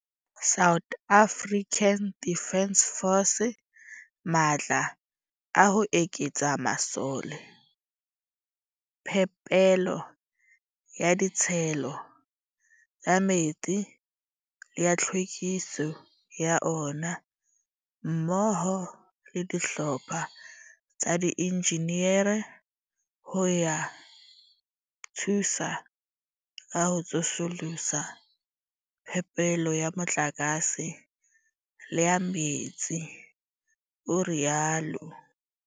Ke file SANDF matla a ho eketsa masole, phepelo ya ditshelo tsa metsi le ya tlhwekiso ya ona, mmoho le dihlopha tsa diinjinere ho ya thusa ka ho tsosolosa phepelo ya motlakase le ya metsi, o rialo.